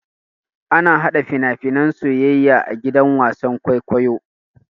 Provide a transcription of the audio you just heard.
Ana hada fina-finan soyayya a gidan wasan kwaikwayo.